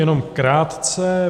Jenom krátce.